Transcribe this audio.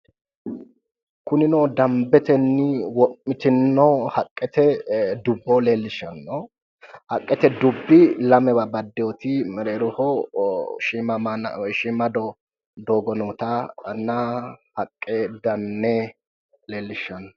kunino danbetenni wo'mitino haqqete dubbo leellishanno haqqete dubbi lamewa baddeyooti mereeroho shiima doogo nootanna haqqe danne leellishanno